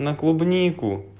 на клубнику